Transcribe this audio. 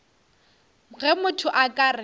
ge motho a ka re